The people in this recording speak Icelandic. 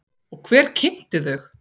Og hver kynnti þau?